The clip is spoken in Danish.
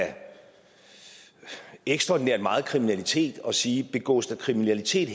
ekstraordinært meget kriminalitet og sige at begås der kriminalitet